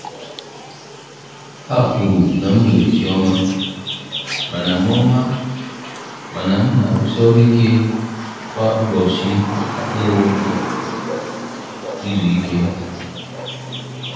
Ha kwuru na m nwere chi ọma, mana m ọma, mana m na-arụsi ọrụ ike kwa ụbọchị na-enweghị izu ike.